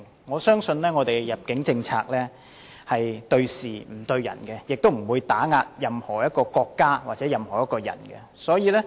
我相信我們的入境政策是對事不對人，亦不會打壓任何國家或個人。